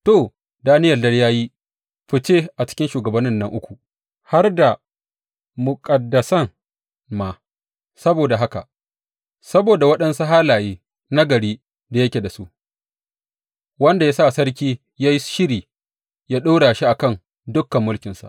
To, Daniyel dai ya yi ficce a cikin shugabannin nan uku har da muƙaddasan ma, saboda waɗansu halaye nagari da yake da su, wanda ya sa sarki ya yi shiri ya ɗora shi a kan dukan mulkinsa.